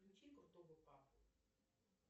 включи крутого папу